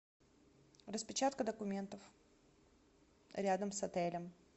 распечатка документов рядом с отелем